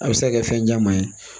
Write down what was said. A bɛ se ka kɛ fɛn caman ye